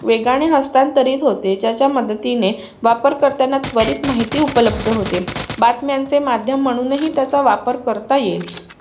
वेगाने हस्तांतरित होते त्याच्या मदतीने वापर करताना त्वरित माहिती उपल्बध होते बातम्यांचे माध्यम म्हणून हि त्याचा वापर करता येईल